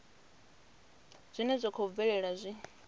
zwine zwa khou bvelela zwi